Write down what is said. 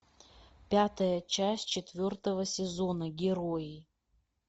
пятая часть четвертого сезона герои